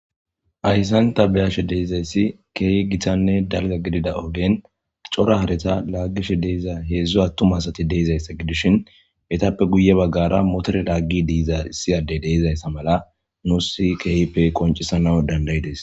Ayssanta beyashe deizayssi keeh gitanne dalga gidida ogen cora hareta laagishe deeza heedzdzo attum asati deezayssa gidishin etappe guye baggara motore laaggi diiza issiyadey deizayssa mala nuusi keehippe qoncisana dandayides.